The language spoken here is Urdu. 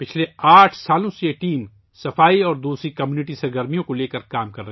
پچھلے آٹھ سالوں سے یہ ٹیم صفائی اور دیگر کمیونٹی سرگرمیوں پر کام کر رہی ہے